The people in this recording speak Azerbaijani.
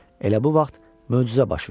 Elə bu vaxt möcüzə baş verdi.